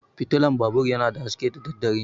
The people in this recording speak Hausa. Fitulan babur yana da haske da daddare.